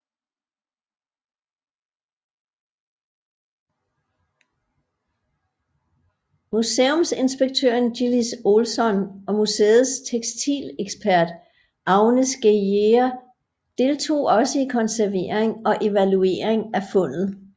Museumsinspektøren Gillis Olson og museets tekstilekspert Agnes Geijer deltog også i konservering og evaluering af fundet